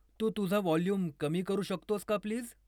तू तुझा वॉल्यूम कमी करू शकतोस का प्लीज ?